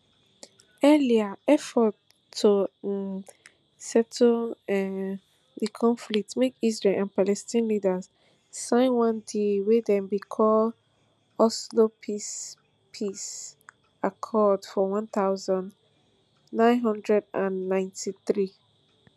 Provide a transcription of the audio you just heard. earlier efforts to um settle um di conflict make israel and palestine leaders sign one deal wey dem bin call oslo peace peace accords for one thousand, nine hundred and ninety-three